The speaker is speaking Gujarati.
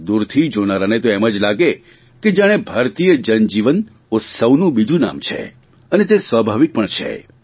દૂરથી જોનારાને તો એમ જ લાગે કે જાણે ભારતીય જનજીવન ઉત્સવનું બીજું નામ છે અને તે સ્વાભાવિક પણ છે